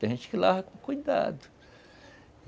Tem gente que lavava com cuidado...